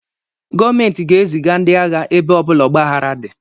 Gọọmenti ga eziga ndị agha ebe ọbula ọgbaghara di